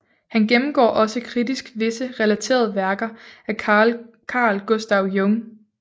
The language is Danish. Han gennemgår også kritisk visse relaterede værker af Carl Gustav Jung